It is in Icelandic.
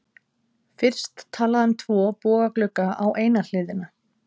Fyrst talað um tvo bogaglugga á eina hliðina.